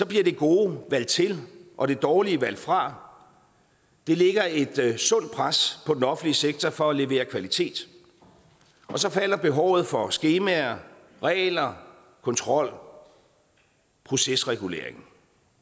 det gode valgt til og det dårlige valgt fra det lægger et sundt pres på den offentlige sektor for at levere kvalitet og så falder behovet for skemaer regler kontrol procesregulering